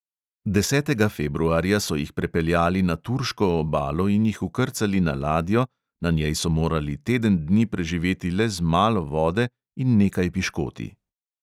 Desetega februarja so jih prepeljali na turško obalo in jih vkrcali na ladjo, na njej so morali teden dni preživeti le z malo vode in nekaj piškoti.